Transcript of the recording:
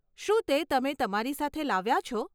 શું તે તમે તમારી સાથે લાવ્યા છો?